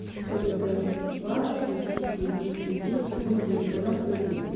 чтобы давать учить других людей чему-либо согласны ли вы